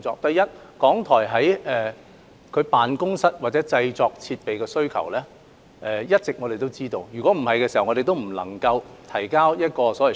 對於港台有關辦公室或製作設施的需求，我們一直都清楚知道，否則我們不能夠提交用途分配表。